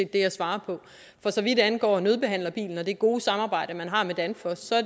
det jeg svarer på for så vidt angår nødbehandlerbilen og det gode samarbejde man har med danfoss